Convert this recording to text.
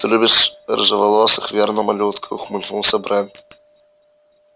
ты любишь рыжеволосых верно малютка ухмыльнулся брент